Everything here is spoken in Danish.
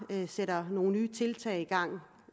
sætter nogle nye tiltag i gang